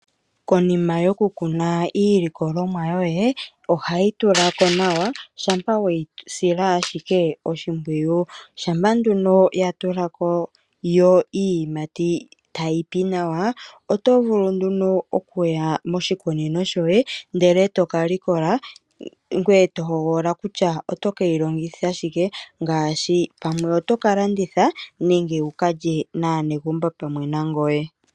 Konima yokukuna iilikolomwa yoye ohayi tula ko nawa shampa we yi sila ashike oshimpwiyu. Shampa nduno ya tula ko yo iiyimati tayi pi nawa, oto vulu nduno okuya moshikunino shoye, ndele to ka likola ngoye to hogolola kutya o ke yi longitha shike. Pamwe oto ka landitha nenge wu ka lye naanegumbo pamwe nangoye.